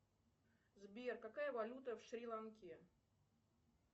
сбер какая валюта в шри ланке